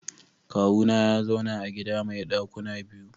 Kawuna ya zauna a gida mai dakuna biyu.